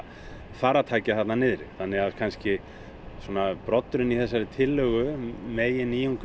farartækja þarna niðri broddurinn í þessari tillögu